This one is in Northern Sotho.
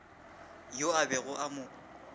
yo a bego a mo